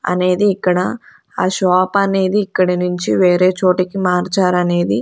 అనేది ఇక్కడ ఆ షాప్ అనేది ఇక్కడి నుంచి వేరే చోటికి మార్చారు అనేది.